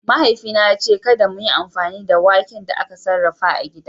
Mahaifina ya ce kada mu yi amfani da waken da aka sarrafa a gida.